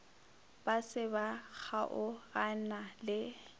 ba se ba kgaogana le